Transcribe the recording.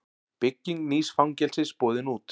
Bygging nýs fangelsis boðin út